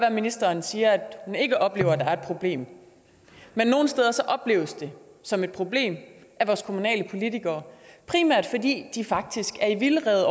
at ministeren siger at hun ikke oplever at der er et problem opleves det som et problem af vores kommunale politikere primært fordi de faktisk er i vildrede